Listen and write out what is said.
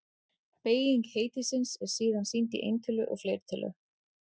Beyging heitisins er síðan sýnd í eintölu og fleirtölu.